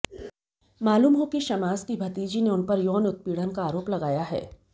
मालूम हो कि शमास की भतीजी ने उनपर यौन उत्पीड़न का आरोप लगाया है